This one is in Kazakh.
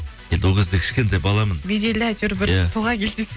енді ол кезде кішкентай баламын беделді әйтеуір тұлға келді дейсіз